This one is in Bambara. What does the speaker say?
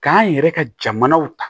K'an yɛrɛ ka jamanaw ta